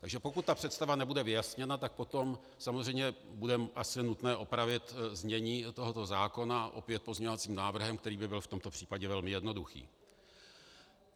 Takže pokud ta představa nebude vyjasněna, tak potom samozřejmě bude asi nutné opravit znění tohoto zákona opět pozměňovacím návrhem, který by byl v tomto případě velmi jednoduchý.